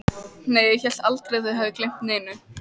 Nei, ég hélt aldrei að þið hefðuð gleymt neinu.